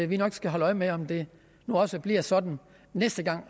vi nok skal holde øje med om det nu også bliver sådan næste gang